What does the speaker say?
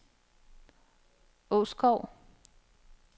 Åskov